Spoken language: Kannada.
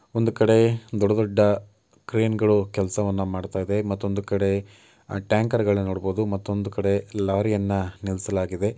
ಒಂದು ಕಡೆ ದೊಡ್ಡ ದೊಡ್ಡ ಕ್ರೇನ್ ಗಳು ಕೆಲಸವನ್ನ ಮಾಡ್ತಾ ಇದೆ ಮತ್ತೊಂದು ಕಡೆ ಟ್ಯಾಂಕರ್ ಗಳನ್ನು ನೋಡಬಹುದು ಮತ್ತೊಂದು ಕಡೆ ಲಾರಿಯನ್ನ ನಿಲ್ಲಿಸಲಾಗಿದೆ